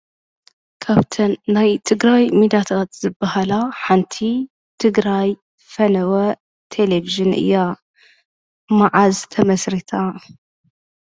ካብተን ናይ ትግረዋይ ሚድያታት ዝበሃላ ሓንቲ ትግራይ ፈነወ ቴሌቭዥን እያ። መዓዝ ተመስሪታ?